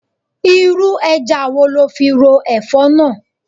Irú ẹja wo lo fi ro Ẹ̀fọ́ náà?